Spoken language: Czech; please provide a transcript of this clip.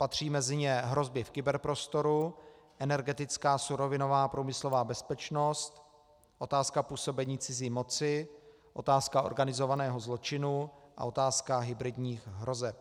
Patří mezi ně hrozby v kyberprostoru, energetická, surovinová a průmyslová bezpečnost, otázka působení cizí moci, otázka organizovaného zločinu a otázka hybridních hrozeb.